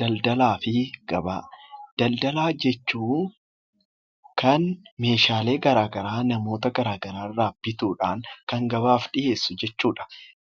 Daldalaa fi Gabaa Daldalaa jechuun kan meeshaalee garaagaraa namoota garaagaraa irraa bituudhaan kan gabaaf dhiyeessu jechuu dha.